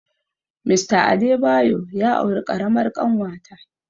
Mr Adebayo ya auri ƙaramar ƙanwata